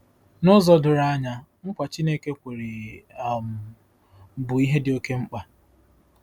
N'ụzọ doro anya, nkwa Chineke kwere um bụ ihe dị oké mkpa.